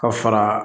Ka fara